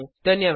धन्यवाद